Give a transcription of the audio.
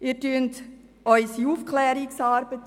Sie torpedieren unsere Aufklärungsarbeit.